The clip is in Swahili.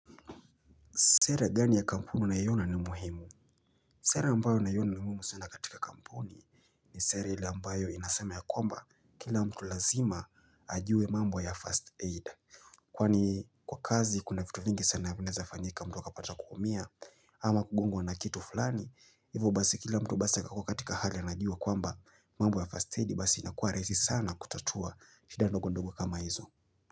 Sera gani ya kampuni unaiyona ni muhimu? Sera ambayo naiyona ni muhimu sana katika kampuni ni sera ile ambayo inasema ya kwamba kila mtu lazima ajue mambo ya first aid. Kwani kwa kazi kuna fitu vingi sana vinaeza fanyika mtu akapata kuumia ama kugongwa na kitu fulani, hivo basi kila mtu basi akakua katika hali anajua kwamba mambo ya first aid basi inakuwa rahisi sana kutatua shiida ndogondogo kama hizo.